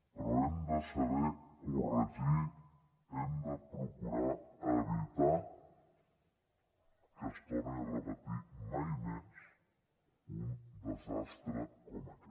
però hem de saber corregir hem de procurar evitar que es torni a repetir mai més un desastre com aquest